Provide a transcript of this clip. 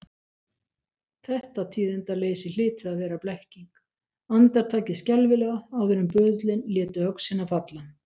Þetta tíðindaleysi hlyti að vera blekking, andartakið skelfilega áður en böðullinn léti öxina falla.